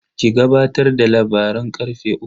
Ki gabatar da labaran karfe uku.